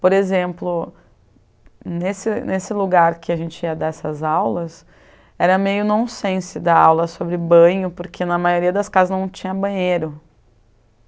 Por exemplo, nesse nesse lugar que a gente ia dar essas aulas, era meio nonsense dar aula sobre banho, porque na maioria das casas não tinha banheiro.